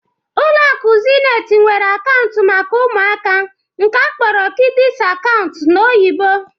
Ụlọ akụ Zenit nwere akaụntụ maka ụmụaka nke akpọrọ kịdịs akaụntụ n'oyibo.